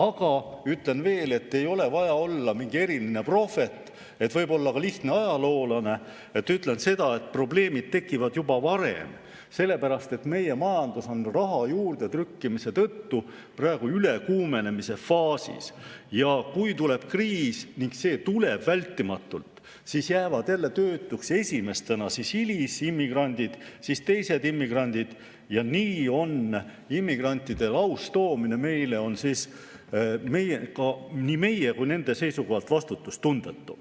Aga ütlen veel, et ei ole vaja olla mingi eriline prohvet, võib olla ka lihtne ajaloolane, et öelda seda, et probleemid tekivad juba varem, sellepärast et meie majandus on raha juurdetrükkimise tõttu praegu ülekuumenemise faasis ja kui tuleb kriis, ning see tuleb vältimatult, siis jäävad esimestena töötuks hilisimmigrandid, siis teised immigrandid, ja nii on immigrantide laustoomine siia nii meie kui nende seisukohalt vastutustundetu.